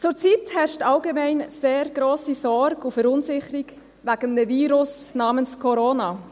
Zurzeit herrscht allgemein sehr grosse Sorge und Verunsicherung wegen eines Virus namens Corona.